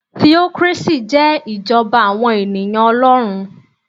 Theocracy jẹ́ ìjọba àwọn ènìyàn Olórun